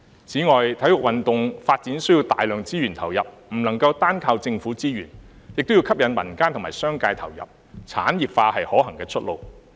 此外，體育運動發展需要投入大量資源，不能夠單靠政府資源，也要吸引民間和商界參與，故此產業化是可行的出路。